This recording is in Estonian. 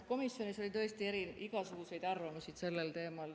Komisjonis oli tõesti igasuguseid arvamusi sellel teemal.